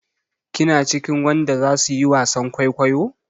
Kina cikin wadan da zasu yi wasan kwaikwayo?